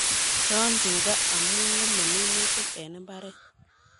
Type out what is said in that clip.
Yon tuga amu ng'emei minutik eng mbaret